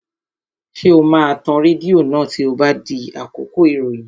Ṣé o máa tan rédíò náà tí ó bá di àkókò ìròyìn?